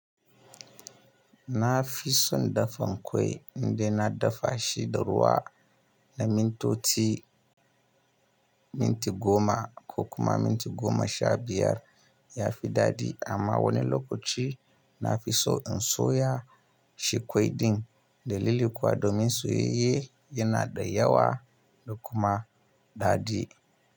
Nafi son dafa kwai indai na dafa shi da ruwa na mintoti, minti goma ko kuma minti goma sha biyar. Yafi daɗi amma wani lokaci nafi so in soya. Shi kwai din dalili kuwa domin soyayye yana da yawa da kuma daɗi.